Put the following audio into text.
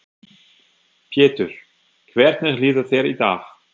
Pétur: Hvernig líður þér í dag?